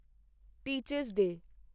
teacher's ਡੇ